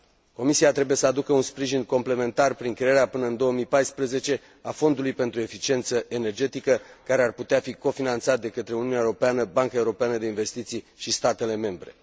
Comisia trebuie să aducă un sprijin complementar prin crearea, până în 2014, a Fondului pentru eficiență energetică, care ar putea fi cofinanțat de către Uniunea Europeană, Banca Europeană de Investiții și statele membre.